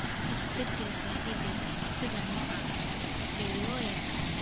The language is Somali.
Isbeddelka hidde-sidaha noocaan ah, ee loo yaqaan isbeddellada somatic, lama dhaxlo.